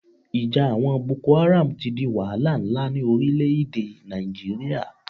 Ìja àwọn Boko Haram ti di wahala nlá ní orílẹ̀ èdè Nàìjíríà